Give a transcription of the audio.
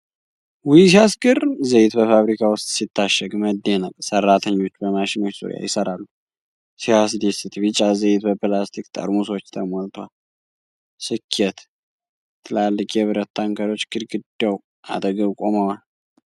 ውይ ሲያስገርም! ዘይት በፋብሪካ ውስጥ ሲታሸግ። መደነቅ። ሰራተኞች በማሽኖች ዙሪያ ይሰራሉ። ሲያስደስት! ቢጫ ዘይት በፕላስቲክ ጠርሙሶች ተሞልቷል። ስኬት። ትላልቅ የብረት ታንኮች ግድግዳው አጠገብ ቆመዋል።